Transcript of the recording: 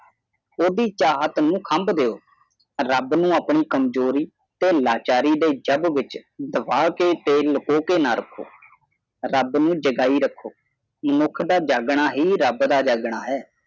ਓਹਦੀ ਚਾਹਤ ਨੂੰ ਖੰਭ ਦਿਓ ਰੱਬ ਨੂੰ ਆਪਣੀ ਕਮਜ਼ੋਰੀ ਤੇ ਲਾਚਾਰੀ ਦੀ ਜੱਬ ਵਿਚ ਦਬਾਕੇ ਤੇ ਲਕੋ ਕੇ ਨਾ ਰੱਖੋ ਰੱਬ ਨੂੰ ਜਗਾਈ ਰੱਖੋ ਮਨੁੱਖ ਦਾ ਜੱਗ ਨਾ ਹੀ ਰੱਬ ਦਾ ਜਾਗਣਾ ਹੈ